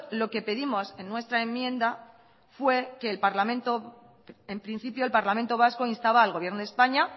lo que pedimos en nuestra enmienda fue que el parlamento en principio el parlamento vasco instaba al gobierno de españa